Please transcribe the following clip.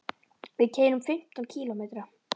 Við keyrum fimmtán kílómetra.